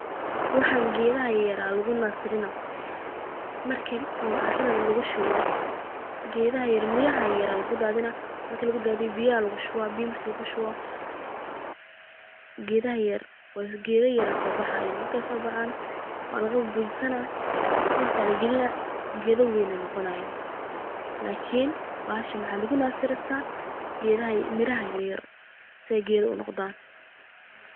Waxan gedaha yaryar aya lugunasirinaya marki carada lugushubo gedaha yarr ee miraha yar lugudadinaya biya lugushuba marku lugushubo geda yaryar kasobaxayan markey sobaaxan walaga bujisana dulka lagalina geda waween noqonayin mark wax lugunasirista gedaha yaryar side geda waween unoqdan.